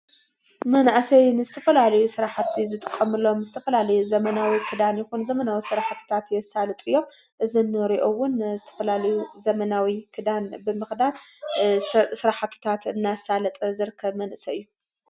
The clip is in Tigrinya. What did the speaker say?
መናእሰይ ንዝተፈላለዩ ሥራሕቲ ዝጥቐምሎም ዝተፈላልዩ ዘመናዊ ኽዳን ይኹን ዘመናዊ ስራሕትታት የሳልጡ እዮም ።እዚ ንሪኦ'ውን ዝተፈላለዩ ዘመናዊ ክዳን ብምቕዳድ ስራሕትታት እናሳለጠ ዝርከብ መንእሰይ እዩ።